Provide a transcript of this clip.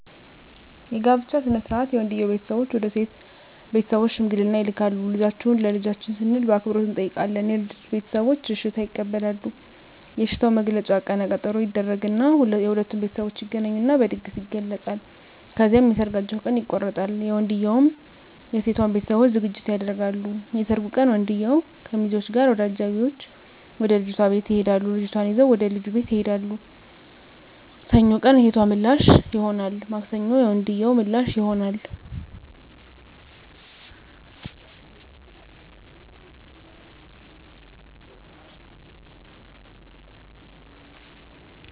የጋብቻ ሥነ ሥርዓት የወንድየዉ ቤተሰቦች ወደ ሴት ቤተሰቦች ሽምግልና ይልካሉ ልጃችሁን ለልጃችን ስንል በአክብሮት እንጠይቃለን የልጂቱ ቤተሰቦች እሽታ ይቀበላሉ የእሽታዉ መግለጫ ቀነ ቀጠሮ ይደረግ እና የሁለቱም ቤተሠቦች ይገናኙና በድግስ ይገለፃል። ከዚያም የሠርጋቸዉ ቀን ይቆረጣል የወንድየዉም የሴቶም ቤተሠቦች ዝግጅት ያደርጋሉ። የሠርጉ ቀን ወንድየዉ ከሚዚወች እና ከአጃቢወቹ ጋር ወደ ልጅቷ ቤት ይሄዳሉ ልጅቷን ይዘዉ ወደ ልጁ ቤት ይሄዳሉ። ሰኞ ቀን የሴቶ ምላሽ ይሆናል ማክሰኞ የወንድየዉ ምላሽ ይሆናል።